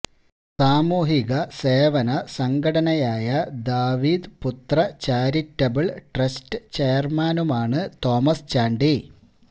സാമൂഹിക സേവന സംഘടനയായ ദാവീദ് പുത്ര ചാരിറ്റബിള് ട്രസ്റ്റ് ചെയര്മാനുമാണ് തോമസ് ചാണ്ടി